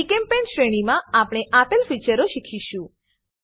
જીચેમ્પેઇન્ટ શ્રેણીમા આપણે આપેલ ફીચરો શીખીશું